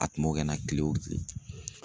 A tun b'o kɛnɛ na kile o kile.